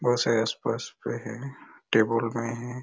बहोत सारे आस-पास पे है टेबल में है।